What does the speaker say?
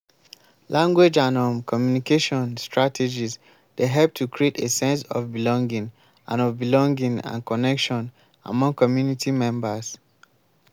language and um communication strategies dey help to create a sense of belonging and of belonging and connection among community members.